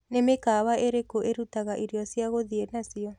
ni mĩkawa ĩrĩkũ irutaga ĩrĩo cĩa guthĩe nacio